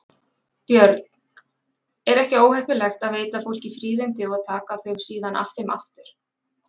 Björn: Er ekki óheppilegt að veita fólki fríðindi og taka þau síðan af þeim aftur?